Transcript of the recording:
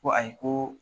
Ko ayi ko